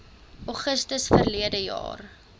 augustus verlede jaar